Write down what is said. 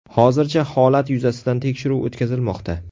Hozirda holat yuzasidan tekshiruv o‘tkazilmoqda.